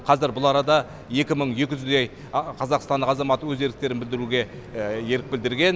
қазір бұл арада екі мың екі жүздей қазақстан азаматы өз еріктерін білдіруге ерік білдірген